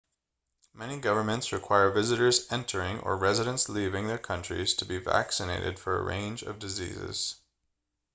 many governments require visitors entering or residents leaving their countries to be vaccinated for a range of diseases